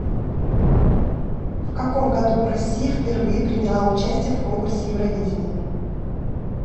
в каком году россия впервые приняла участие в конкурсе евровидение